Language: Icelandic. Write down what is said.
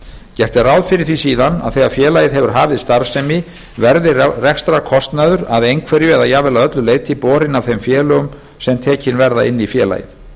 gert er ráð fyrir því síðan að þegar félagið hefur hafið starfsemi verði rekstrarkostnaðurinn að einhverju eða jafnvel að öllu leyti borinn af þeim félögum sem tekin verða inn í félagið